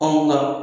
Anw na